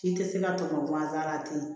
K'i tɛ se ka tɔmɔ ganzan la ten